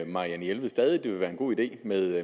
marianne jelved stadig det vil være en god idé med